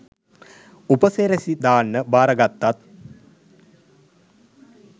උපසිරැසි දාන්න බාරගත්තත්